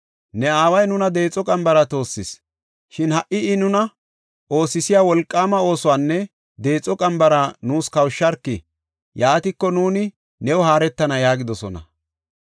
“Ne aaway nuna deexo qambara toossis; shin ha77i I nuna oosisiya wolqaama oosuwanne deexo qambara nuus kawusharki. Yaatiko, nuuni new haaretana” yaagidosona.